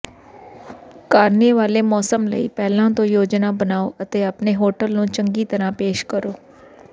ਕਾਰਨੇਵਾਲੇ ਮੌਸਮ ਲਈ ਪਹਿਲਾਂ ਤੋਂ ਯੋਜਨਾ ਬਣਾਓ ਅਤੇ ਆਪਣੇ ਹੋਟਲ ਨੂੰ ਚੰਗੀ ਤਰ੍ਹਾਂ ਪੇਸ਼ ਕਰੋ